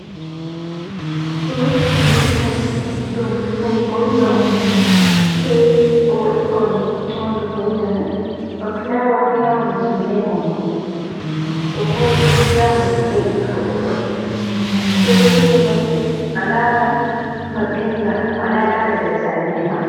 Ɗo hunduko sare, ɗo hunduko windo on, sai owaɗi faune ha hunduko windo mai ba fulawa, fulawa mai timminai maunugo, ɗo boɗɗi fulawa mai fuɗɗai ittugo ɓukkoi. Sai bo windo mai alaran ma ɓinga a wala lara nder sare mai ma.